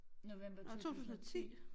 November 2010